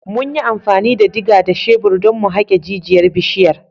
Mun yi amfani da diga da shebir don mu haƙe jijiyar bishiyar.